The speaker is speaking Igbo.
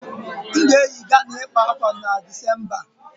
M ga-eyi Ghana ịkpa ákwà a December